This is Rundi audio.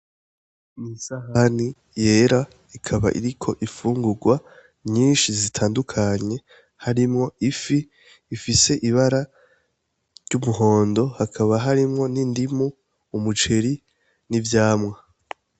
N'isahani yera ikaba iriko imfungugwa nyinshi zitandukanye harimwo, ifi ifise ibara, ry'umuhondo hakaba harimwo n'indimu, umuceri n'ivyamwa.